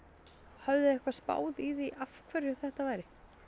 höfðuð þið eitthvað spáð í af hverju þetta væri